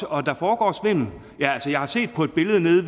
og der foregår svindel jeg har set på et billede nede